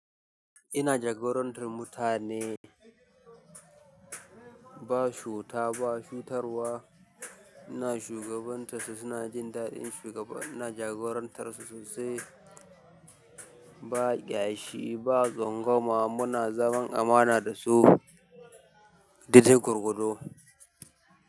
Ina jagorantar mutane ba chuta ba, chutarwa. Ina shugabantar su, suna jin daɗin shugaba. Ina jagorantar su sosai ba ƙyashi ba, tsangoma. Muna zaman amana dasu. Daidai gwargwado.